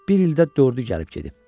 Bir ildə dördü gəlib gedib.